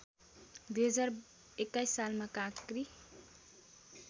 २०२१ सालमा काँक्री